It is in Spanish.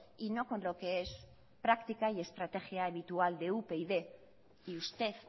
y no con lo que es práctica y estrategia habitual de upyd y usted